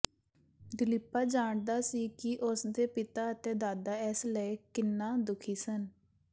ਦਿਲੀਪਾ ਜਾਣਦਾ ਸੀ ਕਿ ਉਸ ਦੇ ਪਿਤਾ ਅਤੇ ਦਾਦਾ ਇਸ ਲਈ ਕਿੰਨਾ ਦੁਖੀ ਸਨ